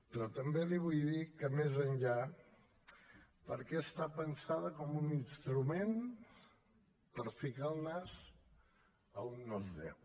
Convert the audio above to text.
però també li vull dir que més enllà perquè està pensada com un instrument per ficar el nas a on no es deu